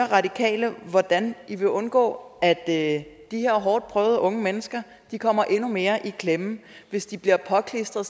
radikale hvordan de vil undgå at de hårdtprøvede unge mennesker kommer endnu mere i klemme hvis de bliver påklistret